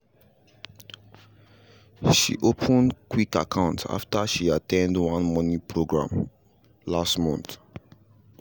she open quick account after she at ten d one money program last month